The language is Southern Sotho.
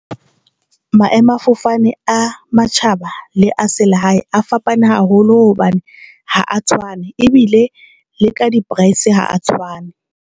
Maemo a fofane a matjhaba le a selehae a fapane haholo hobane ha a tshwane ebile le ka di-price ha a tshwane.